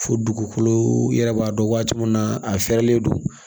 Fo dugukolo yɛrɛ b'a dɔn waati min na a fɛrɛlen don